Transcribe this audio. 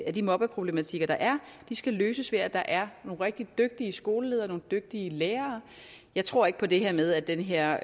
af de mobbeproblematikker der er skal løses ved at der er nogle rigtig dygtige skoleledere og nogle dygtige lærere jeg tror ikke på det her med at de her